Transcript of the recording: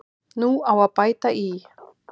Nú á að bæta í.